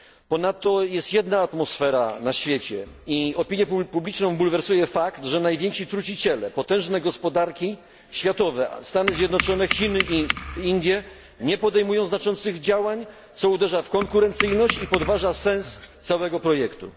Ponadto jest jedna atmosfera na świecie i opinię publiczną bulwersuje fakt, że najwięksi truciciele, potężne gospodarki światowe Stany Zjednoczone, Chiny i Indie nie podejmują znaczących działań, co uderza w konkurencyjność i podważa sens całego projektu.